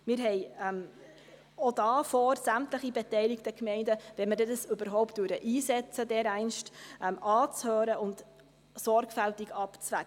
Wir haben auch hier vor, sämtliche beteiligten Gemeinden anzuhören, wenn wir dies denn dereinst überhaupt einsetzen, und sorgfältig abzuwägen.